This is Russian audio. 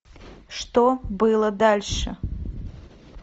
что было дальше